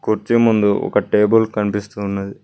కుర్చీ ముందు ఒక టేబుల్ కనిపిస్తూ ఉన్నది.